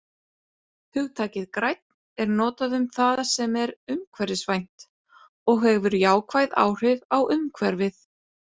Hugtakið grænn er notað um það sem er umhverfisvænt og hefur jákvæð áhrif á umhverfið.